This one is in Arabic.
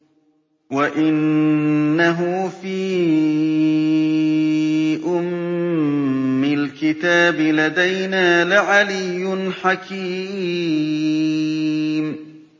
وَإِنَّهُ فِي أُمِّ الْكِتَابِ لَدَيْنَا لَعَلِيٌّ حَكِيمٌ